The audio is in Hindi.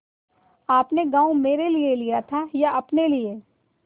आपने गॉँव मेरे लिये लिया था या अपने लिए